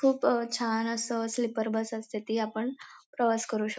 खूप अ छान अस स्लीपर बस असते ती आपण प्रवास करू शक--